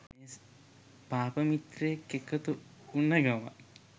පාප මිත්‍රයෙක් එකතුවුණ ගමන්